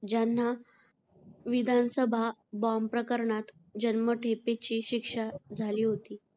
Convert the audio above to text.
ज्यांना विधानसभा बॉम्ब प्रकरणात जन्मठेपेची शिक्षा झाली होती.